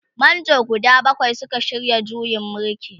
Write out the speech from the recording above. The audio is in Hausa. manjo guda bakwai Suka shirya juyin mulkin.